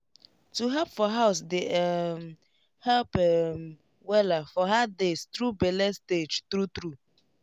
to help for house dey um help um wella for hard days through bele stage true true